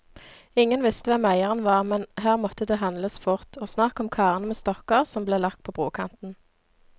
Ingen visste hvem eieren var, men her måtte det handles fort, og snart kom karene med stokker som ble lagt på brokanten.